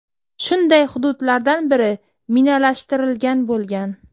Shunday hududlardan biri minalashtirilgan bo‘lgan.